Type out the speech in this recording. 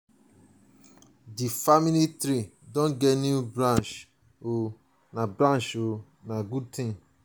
our grandpapa and grandmama dey happy sey dem get more grandchildren.